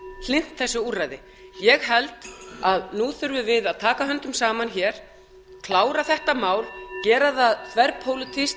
hlynnt þessu úrræði ég held að nú þurfum við að taka höndum saman klára þetta mál gera það þverpólitískt